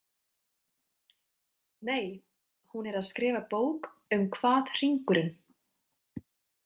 Nei, hún er að skrifa bók um hvað hringurinn.